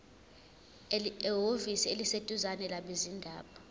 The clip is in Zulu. ehhovisi eliseduzane labezindaba